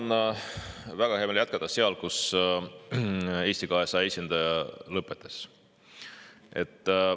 Mul on väga hea meel jätkata sealt, kus Eesti 200 esindaja lõpetas.